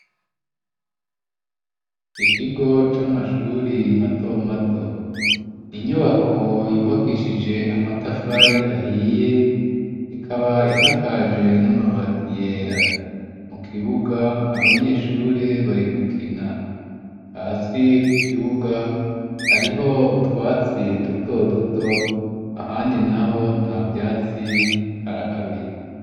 Ikigo c'amashuri mato mato. Inyubako yubakishije amatafari ahiye. Ikaba isakaje n'amabati yera .Mu kibuga abanyeshuri bari gukina hasi ku kibuga hariho utwatsi duto duto ahandi naho nta vyatsi haraharuye.